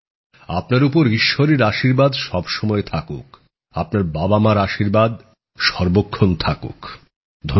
আপনার উপর ঈশ্বরের আশীর্বাদ সবসময় থাকুক আপনার বাবামার আশীর্বাদ সর্বক্ষণ থাকুক ধন্যবাদ